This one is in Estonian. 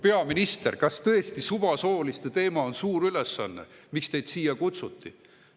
Peaminister, kas tõesti on suvasooliste teema see suur ülesanne, mille jaoks teid siia kutsuti?